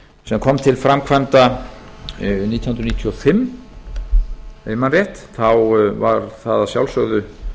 sem kom til framkvæmda nítján hundruð níutíu og fimm ef ég man rétt þá var það að sjálfsögðu